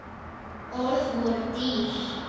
Orð voru dýr.